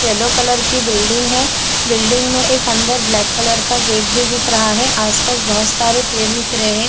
Yellow colour की building है building में एक अंदर ब्लैक कलर का गेट भी दिख रहा है आस - पास बहुत सारे पेड़ दिख रहै हैं।